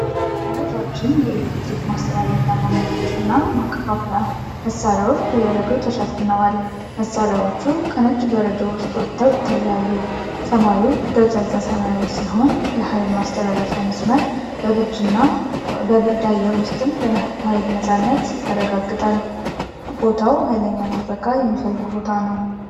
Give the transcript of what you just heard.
ረዣዥም የኤሌክትሪክ ማስተላለፊያ ማማዎች እና ማከፋፈያ መሣሪያዎች በበረዶ ተሸፍነዋል። መሣሪያዎቹ ከነጭ በረዶ ውስጥ ወጥተው ይታያሉ፤ ሰማዩ ደብዛዛ ሰማያዊ ነው። የሃይል ማስተላለፊያው መስመር በብርድ አየር ውስጥም የኃይልን ነፃነት ያረጋግጣል። ቦታው ሀይለኛ ጥበቃ የሚፈልግ ቦታ ነው።